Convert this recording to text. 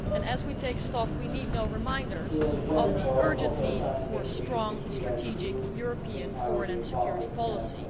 As we take stock, we need no reminders of the urgent need for strong, strategic, European foreign and security policy.